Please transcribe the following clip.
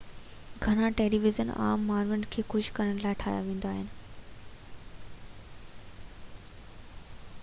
گهڻا television عام ماڻهن کي خوش ڪرڻ جي لاءِ ٺاهيا ويندا آهن